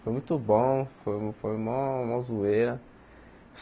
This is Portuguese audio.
Foi muito bom, foi foi maior maior zoeira.